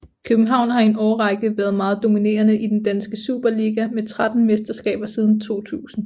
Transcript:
København har i en årrække været meget dominerende i den danske Superliga med tretten mesterskaber siden 2000